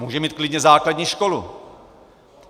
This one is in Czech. Může mít klidně základní školu.